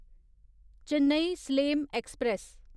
Chennai Salem express